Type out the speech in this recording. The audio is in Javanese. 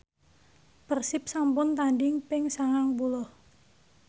Persib sampun tandhing ping sangang puluh